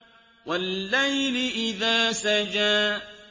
وَاللَّيْلِ إِذَا سَجَىٰ